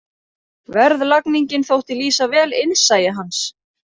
Verðlagningin þótti lýsa vel innsæi hans.